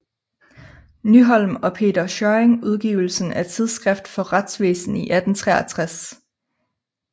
Nyholm og Peter Schjørring udgivelsen af Tidsskrift for Retsvæsen i 1863